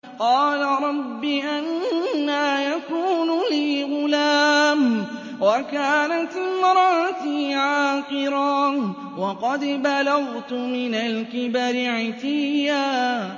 قَالَ رَبِّ أَنَّىٰ يَكُونُ لِي غُلَامٌ وَكَانَتِ امْرَأَتِي عَاقِرًا وَقَدْ بَلَغْتُ مِنَ الْكِبَرِ عِتِيًّا